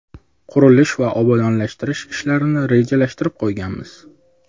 Qurilish va obodonlashtirish ishlarini rejalashtirib qo‘yganmiz.